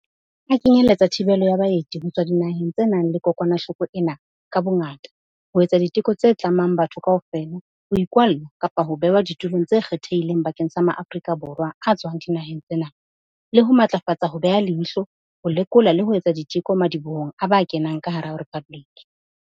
A kenyeletsa thibelo ya baeti ho tswa dinaheng tse nang le kokwanahloko ena ka bongata, ho etsa diteko tse tlamang bathong kaofela, ho ikwalla kapa ho behwa ditulong tse kgethehileng bakeng sa maAforika Borwa a tswang dinaheng tsena, le ho matlafatsa ho beha leihlo, ho lekola le ho etsa diteko madibohong a ba kenang ka hara Rephabliki.